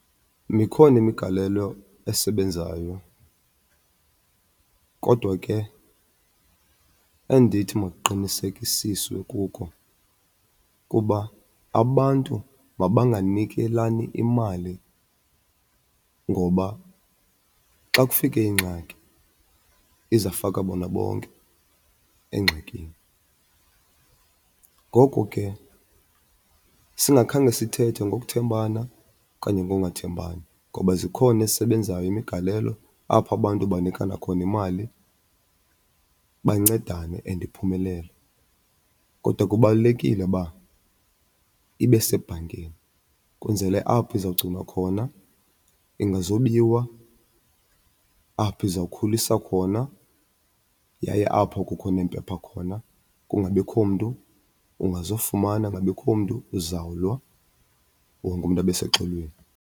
Mikhona imigalelo esebenzayo kodwa ke endithi makuqinisekisiswe kuko kuba abantu mabanganikelani imali ngoba xa kufike ingxaki izafaka bona bonke engxakini. Ngoko ke singakhange sithethe ngokuthembana okanye ngongathembani, ngoba zikhona esebenzayo imigalelo apho abantu banikana khona imali bancedane and iphumelele. Kodwa kubalulekile uba ibe sebhankini kwenzele apho izawugcinwa khona ingazubiwa, apho izawukhulisa khona yaye apho kukho neempepha khona. Kungabikho mntu ungazofumana, kungabikho mntu uzawulwa, wonke umntu abe seluxolweni.